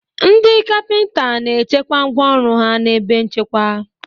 Ndị kapịnta na-echekwa ngwá ọrụ ha n'ebe nchekwa.